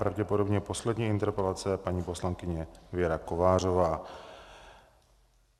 Pravděpodobně poslední interpelace, paní poslankyně Věra Kovářová.